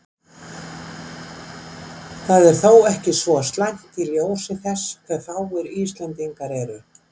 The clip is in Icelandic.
Það er þó ekki svo slæmt í ljósi þess hve fáir Íslendingar eru.